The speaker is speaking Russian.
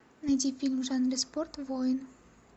найди фильм в жанре спорт воин